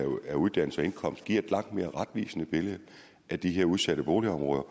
af uddannelse og indkomst giver et langt mere retvisende billede af de her udsatte boligområder